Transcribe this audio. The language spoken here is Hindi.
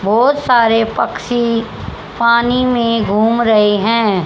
बहुत सारे पक्षी पानी में घूम रहे हैं।